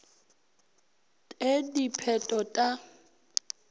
t e dipheto t a